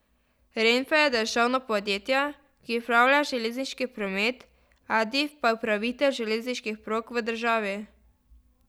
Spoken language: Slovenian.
Renfe je državno podjetje, ki upravlja železniški promet, Adif pa je upravitelj železniških prog v državi.